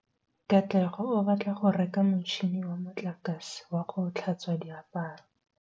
Katlego o batla go reka motšhine wa motlakase wa go tlhatswa diaparo.